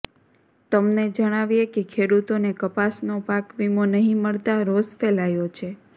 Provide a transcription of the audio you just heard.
તમને જણાવીએ કે ખેડૂતોને કપાસનો પાકવીમો નહીં મળતા રોષ ફેલાયો છે